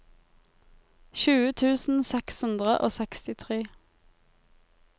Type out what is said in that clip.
tjue tusen seks hundre og sekstitre